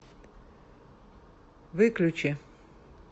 выключи